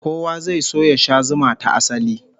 Kowa zai so ya sha zuma ta asali